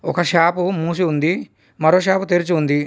ఒక షాపు మూసి ఉంది మరో షాపు తెరిచి ఉంది.